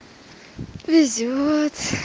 везёт